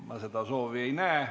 Ka seda soovi ma ei näe.